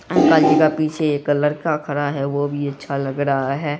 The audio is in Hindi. अंकल जी का पीछे एक लड़का खड़ा है वो भी अच्छा लग रहा है।